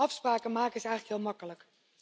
Afspraken maken is eigenlijk heel makkelijk.